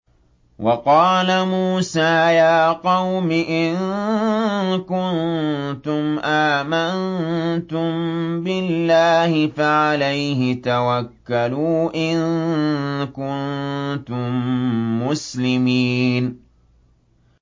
وَقَالَ مُوسَىٰ يَا قَوْمِ إِن كُنتُمْ آمَنتُم بِاللَّهِ فَعَلَيْهِ تَوَكَّلُوا إِن كُنتُم مُّسْلِمِينَ